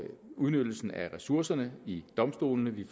udnyttelsen af ressourcerne i domstolene vi